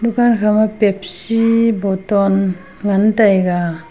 dukan khama pepsi botton. ngan taiga.